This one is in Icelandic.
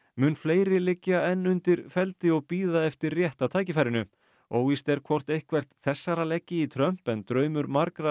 mun fleiri liggja enn undir feldi og bíða eftir rétta tækifærinu óvíst er hvort eitthvert þessara leggi í Trump en draumur margra